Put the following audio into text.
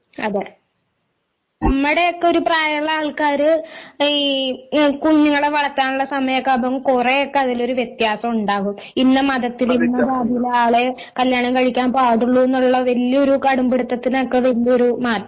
അതേ നമ്മുടെയൊക്കെ ഒരു പ്രായമുള്ള ആൾക്കാര് ഈ കുഞ്ഞുങ്ങളെ വളർത്താനുള്ള സമയമൊക്കെ ആകുമ്പോ കുറെ ഒക്കെ അതിലൊരു വ്യത്യാസം ഉണ്ടാകും ഇന്ന മതത്തില് ഇന്ന ജാതിയിലുള്ള ആളെ കല്യാണം കഴിക്കാൻ പാടുള്ളൂ എന്നുള്ള വലിയ ഒരു കടുംപിടിത്തത്തിനൊക്കെ വലിയ ഒരു മാറ്റം